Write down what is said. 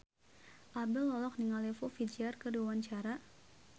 Abdel olohok ningali Foo Fighter keur diwawancara